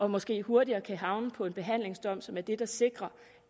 måske hurtigere kan få en behandlingsdom som er det der sikrer